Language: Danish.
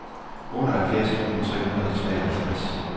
otteoghalvfjerds tusind tre hundrede og treoghalvtreds